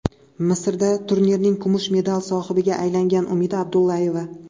Misrdagi turnirning kumush medal sohibiga aylangan Umida Abdullayeva.